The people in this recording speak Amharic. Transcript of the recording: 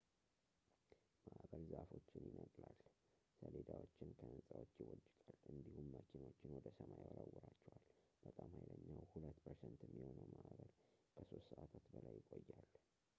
ማእበል ዛፎችን ይነቅላል ሰሌዳዎችን ከሕንፃዎች ይቦጭቃል እንዲሁም መኪኖችን ወደ ሰማይ ይወረውራቸዋል በጣም ሀይለኛው ሁለት ፐርሰንት የሚሆነው ማእበል ከሶስት ሰዓታት በላይ ይቆያል